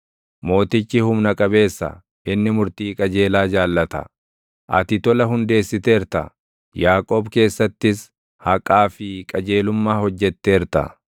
Mootichi humna qabeessa; inni murtii qajeelaa jaallata; ati tola hundeessiteerta; Yaaqoob keessattis haqaa fi qajeelummaa hojjetteerta.